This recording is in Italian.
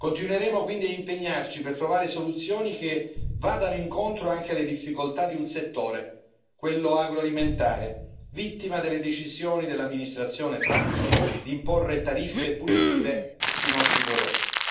Continueremo quindi a impegnarci per trovare soluzioni che vadano incontro anche alle difficoltà di un settore, quello agroalimentare, vittima delle decisioni dell'amministrazione Trump di imporre tariffe punitive sui nostri prodotti.